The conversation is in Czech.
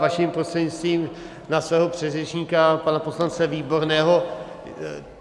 Vaším prostřednictvím na mého předřečníka pana poslance Výborného.